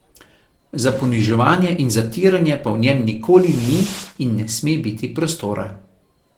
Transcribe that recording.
Za poniževanje in zatiranje pa v njem nikoli ni in ne sme biti prostora.